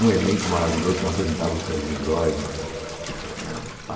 Um elenco maravilhoso, quem apresentava era o Serginho Groisman.